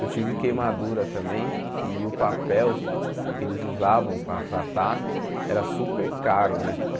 Eu tive queimadura também e o papel que eles usavam para tratar era super caro, né?